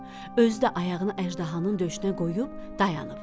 Özü də ayağını əjdahanın döşünə qoyub dayanıb.